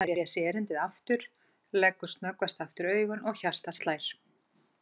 Hann les erindið aftur, leggur snöggvast aftur augun og hjartað slær.